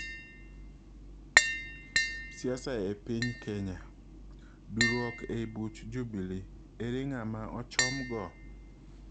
Siasa e piny kenya: duuruok ei buch Jubilee, ere ng'ama ochom go?